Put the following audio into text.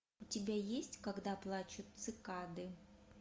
у тебя есть когда плачут цикады